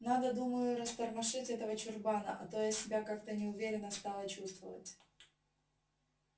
надо думаю растормошить этого чурбана а то я себя как-то неуверенно стала чувствовать